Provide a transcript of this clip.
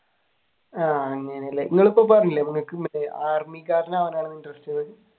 ആഹ് അങ്ങനെയല്ലേ നിങ്ങൾ ഇപ്പൊ പോകാറില്ലേ